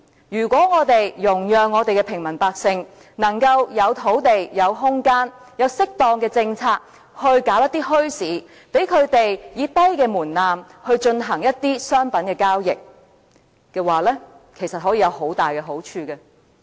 如果我們容讓平民百姓能夠有土地、有空間，有適當的政策發展一些墟市，讓他們以低門檻進行商品的交易，其實可以有很大的好處。